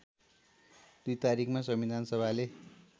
२ तारिखमा संविधानसभाले